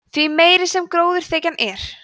því meiri sem gróðurþekjan er